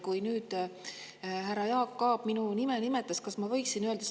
Kui nüüd härra Jaak Aab minu nime nimetas, kas ma võiksin?